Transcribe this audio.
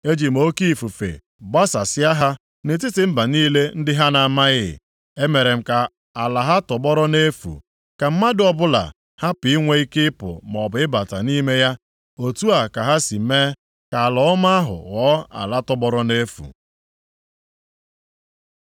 ‘Eji m oke ifufe gbasasịa ha nʼetiti mba niile, ndị ha na-amaghị. Emere m ka ala ha tọgbọrọ nʼefu, ka mmadụ ọbụla hapụ inwe ike ịpụ maọbụ ịbata nʼime ya. Otu a ka ha si mee ka ala ọma ahụ ghọọ ala tọgbọrọ nʼefu.’ ”